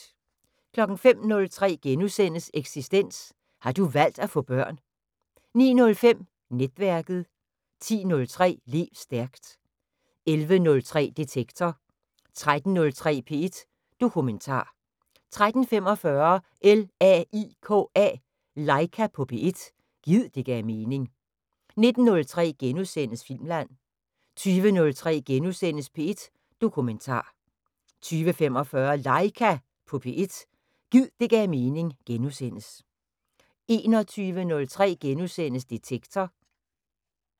05:03: Eksistens: Har du valgt at få børn? * 09:05: Netværket 10:03: Lev stærkt 11:03: Detektor 13:03: P1 Dokumentar 13:45: LAIKA på P1 – gid det gav mening 19:03: Filmland * 20:03: P1 Dokumentar * 20:45: LAIKA på P1 – gid det gav mening * 21:03: Detektor *